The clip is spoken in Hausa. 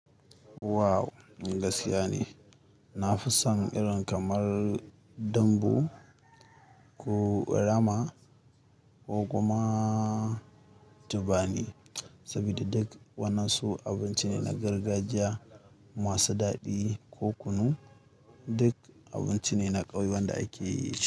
Wow! Gaskiya ne. Na fi son irin kamar dambu ko nama ko kuma tubami. Saboda duk wannan su abinci ne na gargajiya masu daɗi ko kunu. Duk abinci ne na ƙauye wanda ake yi.